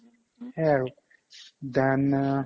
সেয়াই আৰু then আ